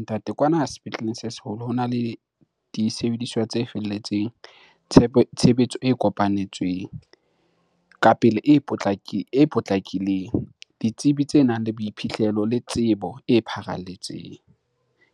Ntate, kwana sepetleleng se seholo hona le disebediswa tse felletseng tshebetso e kopanetsweng ka pele e potlakileng, ditsebi tse nang le boiphihlelo le tsebo e pharalletseng.